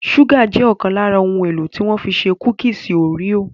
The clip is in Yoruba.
Ṣúgà jẹ́ ọ̀kan lára ohun-èlò tí wọ́n fi ṣe kúkísì òréò.